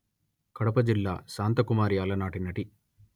కడప జిల్లాశాంతకుమారి అలనాటి నటి